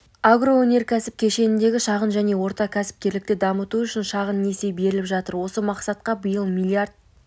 агроөнеркәсіп кешеніндегі шағын және орта кәсіпкерлікті дамыту үшін шағын несие беріліп жатыр осы мақсатқа биыл млрд